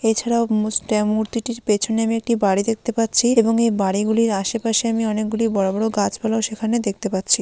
এছাড়াও মুছতে মূর্তিটির পেছনে আমি একটি বাড়ি দেখতে পাচ্ছি এবং এই বাড়িগুলির আশেপাশে আমি অনেকগুলো বড় বড় গাছগুলোও সেখানে দেখতে পাচ্ছি।